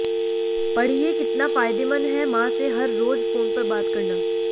पढ़िए कितना फायदेमंद है मां से हर रोज फोन पर बात करना